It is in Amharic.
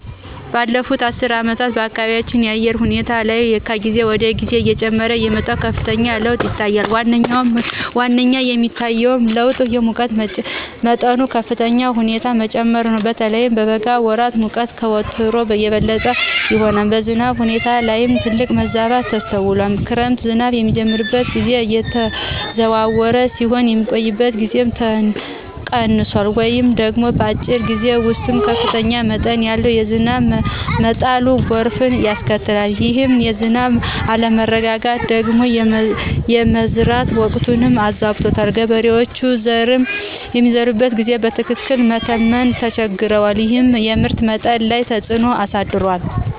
ባለፉት አስርት ዓመታት በአካባቢያችን በአየር ሁኔታ ላይ ከጊዜ ወደ ጊዜ እየጨመረ የመጣ ከፍተኛ ለውጥ ይታያል። ዋነኛው የሚታየው ለውጥ የሙቀት መጠኑ በከፍተኛ ሁኔታ መጨመሩ ነው። በተለይም በበጋ ወራት ሙቀቱ ከወትሮው የበለጠ ይሆናል። በዝናብ ሁኔታ ላይም ትልቅ መዛባት ተስተውሏል። የክረምት ዝናብ የሚጀምርበት ጊዜ እየተዘዋወረ ሲሆን፣ የሚቆይበት ጊዜም ቀንሷል ወይም ደግሞ በአጭር ጊዜ ውስጥ ከፍተኛ መጠን ያለው ዝናብ በመጣሉ ጎርፍ ያስከትላል። ይህ የዝናብ አለመረጋጋት ደግሞ የመዝራት ወቅትን አዛብቶታል። ገበሬዎች ዘርን የሚዘሩበትን ጊዜ በትክክል መተመን ተቸግረዋል፤ ይህም የምርት መጠን ላይ ተፅዕኖ አሳድሯል።